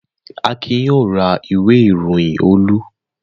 Akin yóò ra ìwé-ìròyìn Olú.